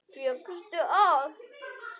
Fékkstu að.